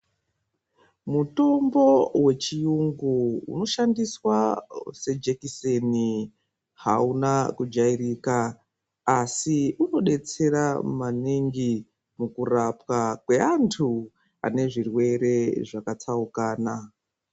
Mutombo wechiyungu unoshandiswa sejekiseni hauna kujairika asi unodetsera maningi mujurapwa kweanthu ane zvirwere zvakatsaukana.